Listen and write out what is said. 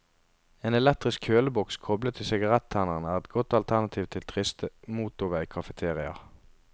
En elektrisk kjøleboks koblet til sigarettenneren er et godt alternativ til triste motorveikafeteriaer.